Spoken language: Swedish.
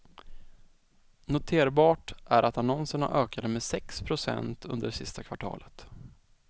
Noterbart är att annonserna ökade med sex procent under det sista kvartalet.